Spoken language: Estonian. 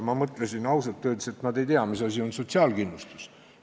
Ma mõtlesin, ausalt öeldes, et nad ei tea, mis asi on sotsiaalkindlustus.